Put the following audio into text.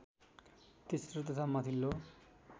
तेस्रो तथा माथिल्लो